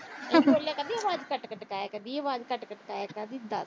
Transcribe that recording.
ਬੋਲਿਆ ਤਾਂ ਕੱਟ-ਕੱਟ ਕੇ ਆਇਆ ਕਰਦੀ ਆਵਾਜ ਅਹ ਕੱਟ-ਕੱਟ ਆਇਆ ਕਰਦੀ ਦੱਸ।